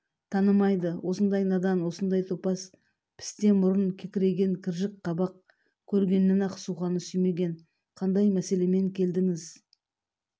танымайды осындай надан осындай топас пісте мұрын кекірейген кіржік қабақ көргеннен-ақ суқаны сүймеген қандай мәселемен келдіңіз